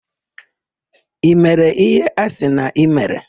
I mere íhé a sị na i mere?